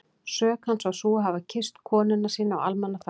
Sök hans var sú að hafa kysst konuna sína á almannafæri!